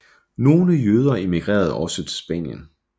Nogle jøder emigrerede også til Spanien